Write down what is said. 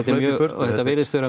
og þetta virðist